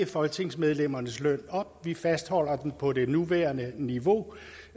folketingsmedlemmernes løn op vi fastholder den på det nuværende niveau